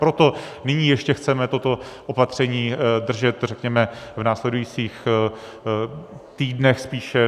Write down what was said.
Proto nyní ještě chceme toto opatření držet, řekněme, v následujících týdnech spíše.